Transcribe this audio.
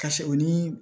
Ka se o ni